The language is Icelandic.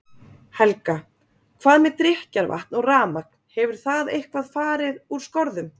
Helga: Hvað með drykkjarvatn og rafmagn, hefur það eitthvað fari úr skorðum?